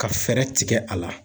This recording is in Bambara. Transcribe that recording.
Ka fɛɛrɛ tigɛ a la